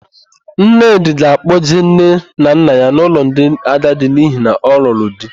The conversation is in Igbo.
Nnedị ga-akpọjee nne na nne ya n'ụlọ ndị agadi n'ihi na ọ lụrụ di.